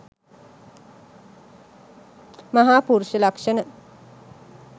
මහා පුරුෂ ලක්ෂණ,